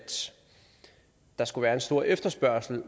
der konkret skulle være en stor efterspørgsel